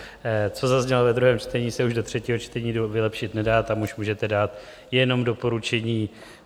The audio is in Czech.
Co zaznělo ve druhém čtení, se už do třetího čtení vylepšit nedá, tam už můžete dát jenom doporučení.